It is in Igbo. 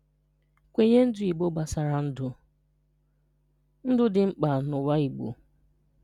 Nkwenye Ndụ Igbo gbasara Ndụ – Ndụ dị mkpa n’ụwa Igbo.